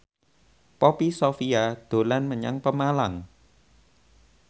Poppy Sovia dolan menyang Pemalang